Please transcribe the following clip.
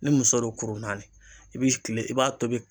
Ni muso don kuru naani i bi kile i b'a tobi